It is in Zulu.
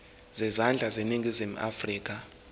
zezandla zaseningizimu afrika